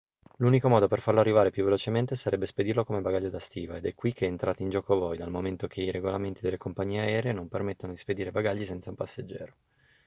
l'unico modo per farlo arrivare più velocemente sarebbe spedirlo come bagaglio da stiva ed è qui che entrate in gioco voi dal momento che i regolamenti delle compagnie aeree non permettono di spedire bagagli senza un passeggero